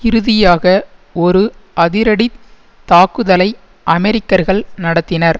இறுதியாக ஒரு அதிரடி தாக்குதலை அமெரிக்கர்கள் நடத்தினர்